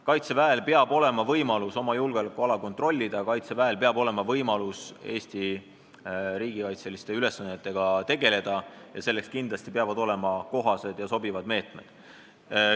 Kaitseväel peab olema võimalus oma julgeolekuala kontrollida, Kaitseväel peab olema võimalus Eesti riigikaitseliste ülesannetega tegeleda ning selleks peavad kindlasti olema kohased ja sobivad meetmed.